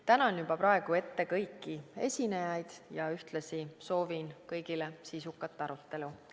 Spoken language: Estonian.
Tänan juba praegu ette kõiki esinejaid ja ühtlasi soovin kõigile sisukat arutelu.